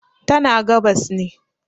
tana gabas ne